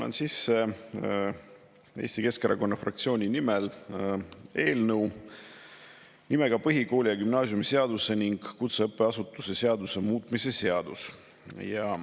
Annan sisse Eesti Keskerakonna fraktsiooni nimel eelnõu nimega "Põhikooli‑ ja gümnaasiumiseaduse ning kutseõppeasutuse seaduse muutmise seadus".